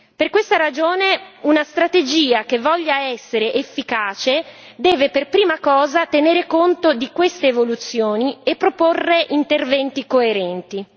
Per questa ragione, una strategia che voglia essere efficace deve per prima cosa tenere conto di queste evoluzioni e proporre interventi coerenti.